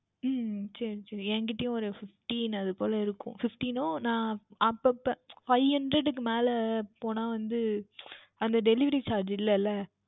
உம் சரி சரி என்கிட்டையும் ஓர் Fifteen அதற்குள்ளே இருக்கும் Fifteen னையும் நான் அப்பொழுது அப்பொழுது Five Hundred க்கு மேல் போனால் வந்து அந்த Delivery Charge இல்லை அல்ல